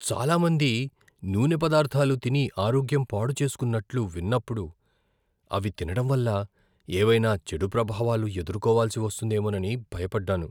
చాలా మంది నూనె పదార్థాలు తిని ఆరోగ్యం పాడు చేసుకున్నట్లు విన్నప్పుడు, అవి తినడం వల్ల ఏవైనా చెడు ప్రభావాలు ఎదుర్కోవాల్సి వస్తుందేమోనని భయపడ్డాను.